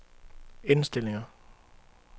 indstillinger